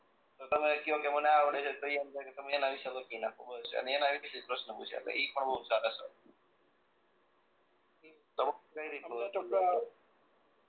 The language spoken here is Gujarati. તમે કયો કે મને આ આવડે છે તો ઈ અંદાજ એ તમે એના વિશે લખી નાખો અને બસ એના વિશે જ પ્રશ્ન પૂછે એટલે એ પણ બહું સારા સર